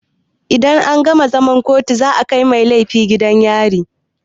Idan an gama zaman kotu za a kai mai laifi gidan yari.